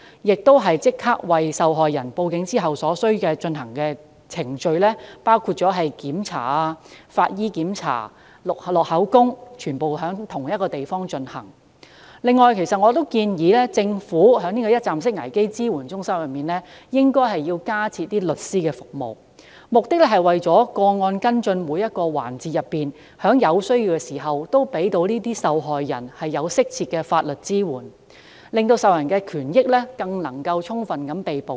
換言之，受害人向警方報案後所需進行的程序，包括醫療檢查、法醫檢查、錄取口供等，均應在同一地方進行。此外，我建議政府在一站式危機支援中心加設律師服務，目的是在跟進個案的每一環節中，均可在有需要時向受害人提供適切的法律支援，令受害人的權益更能充分獲得保障。